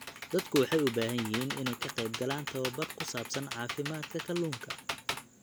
Dadku waxay u baahan yihiin inay ka qaybgalaan tababar ku saabsan caafimaadka kalluunka.